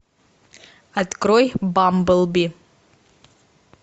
открой бамблби